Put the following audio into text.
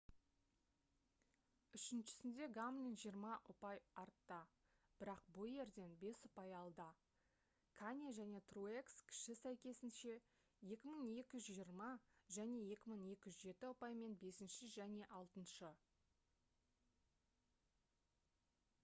үшіншісінде гамлин жиырма ұпай артта бірақ бойерден бес ұпай алда кане және труекс кіші сәйкесінше 2220 және 2207 ұпаймен бесінші және алтыншы